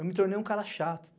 Eu me tornei um cara chato.